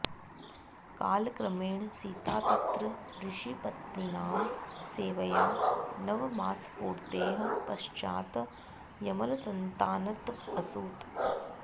कालक्रमेण सीता तत्र ऋषिपत्नीनां सेवया नवमासपूर्तेः पश्चात् यमलसन्तानम् असूत